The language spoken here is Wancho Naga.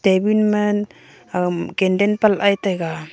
table ma agam candle pat gai taiga.